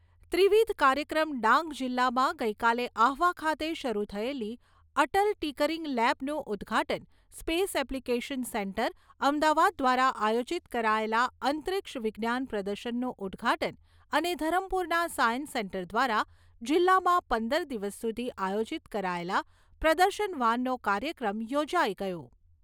ત્રિવિધ કાર્યક્રમ ડાંગ જિલ્લામાં ગઈકાલે આહવા ખાતે શરૂ થયેલી અટલ ટિકરીંગ લેબનું ઉદ્દઘાટન સ્પેસ એપ્લિકેશન સેન્ટર અમદાવાદ દ્વારા આયોજીત કરાયેલા અંતરીક્ષ વિજ્ઞાન પ્રદર્શનનું ઉદ્દઘાટન અને ધરમપુરના સાયન્સ સેન્ટર દ્વારા જિલ્લામાં પંદર દિવસ સુધી આયોજીત કરાયેલા પ્રદર્શન વાનનો કાર્યક્રમ યોજાઈ ગયો.